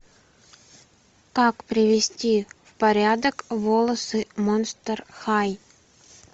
как привести в порядок волосы монстер хай